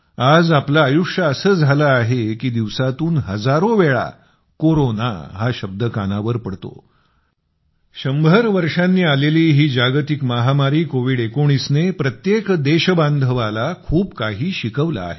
आज आपलं आयुष्य असं झालं आहे की दिवसातून हजारोवेळा कोरोना हा शब्द कानावर पडतो 100 वर्षांनी आलेली ही जागतिक महामारी कोविड19 ने प्रत्येक देशबांधवाला खूप काही शिकवलं आहे